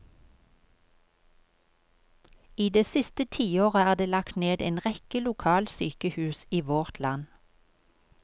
I det siste tiåret er det lagt ned en rekke lokalsykehus i vårt land.